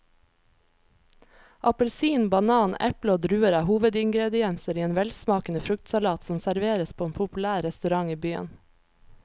Appelsin, banan, eple og druer er hovedingredienser i en velsmakende fruktsalat som serveres på en populær restaurant i byen.